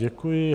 Děkuji.